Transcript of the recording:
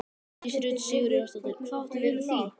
Hjördís Rut Sigurjónsdóttir: Hvað áttu við með því?